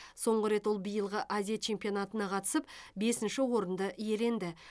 соңғы рет ол биылғы азия чемпионатына қатысып бесінші орын иеленді